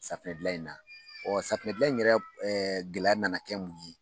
Safunɛdilan in na ɔ safunɛdilan in yɛrɛ gɛlɛya nana kɛ mun ye